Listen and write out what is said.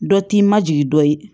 Dɔ t'i ma jigi dɔ ye